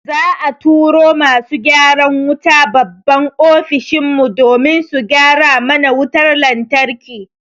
Za'a turo masu gyaran wuta babban Ofishin mu domin su gyara mana wutar lantarki.